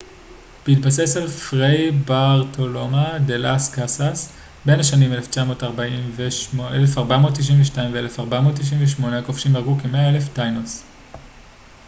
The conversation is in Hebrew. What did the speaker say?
בהתבסס על פריי ברטולומה דה לאס קאסאס tratado de las indias בין השנים 1492 - 1498 הכובשים הרגו כ - 100,000 טאינוס